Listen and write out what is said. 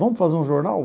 Vamos fazer um jornal?